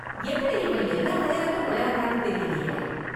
எப்படி இவன் எல்லா விளையாட்டும் விளையாடுறான்னு தெரியலையே!